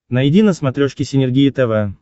найди на смотрешке синергия тв